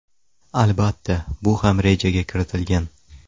Albatta, bu ham rejaga kiritilgan.